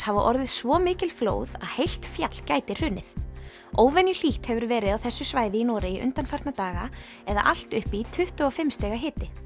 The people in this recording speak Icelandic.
hafa orðið svo mikil flóð heilt fjall gæti hrunið hefur verið á þessu svæði í Noregi undanfarna daga eða allt upp í tuttugu og fimm stig